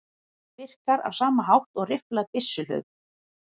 Það virkar á sama hátt og rifflað byssuhlaup.